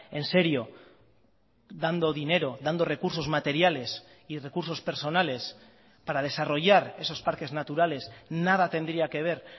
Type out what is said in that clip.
en serio dando dinero dando recursos materiales y recursos personales para desarrollar esos parques naturales nada tendría que ver